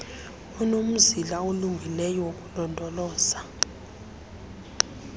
unomzila olungileyo wokulondoloza